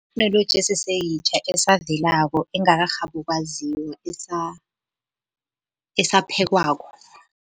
Itheknoloji eseseyitjha, esavelako, engakarhabi ukwaziwa, esaphekwako.